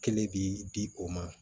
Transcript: Kelen bi di o ma